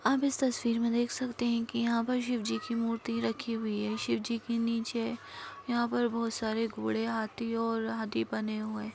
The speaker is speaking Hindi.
आप इस तस्वीर मे देख सकते हैं की यहाँ पर शिव जी की मूर्ति रखी हुई है शिव जी की नीचे यहाँ पर बहुत सारे घोड़े हाथी और हाथी बने हुए हैं जो की देखने में बहुत अच्छी--